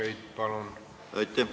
Aitäh, härra eesistuja!